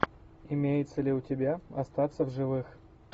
имеется ли у тебя остаться в живых